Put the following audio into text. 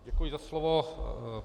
Děkuji za slovo.